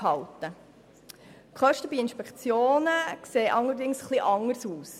Bei den Kosten für die Inspektionen sieht es allerdings etwas anders aus.